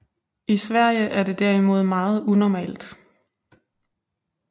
I Sverige er det derimod meget unormalt